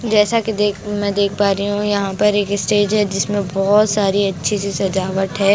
जैसा कि देख मैं देख पा रही हूँ यहाँ पर एक स्टेज है जिसमें बहुत सारी अच्छी सी सजावट है।